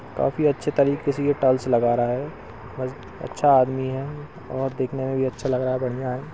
काफी अच्छे तरीके से यह टाइल्स लगा रहा है अच्छा आदमी है और देखने में भी अच्छा लग रहा है बढ़ियाँ है।